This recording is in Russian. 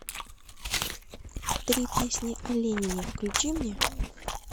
три песни о ленине включи мне